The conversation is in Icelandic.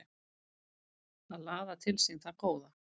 Að laða til sín það góða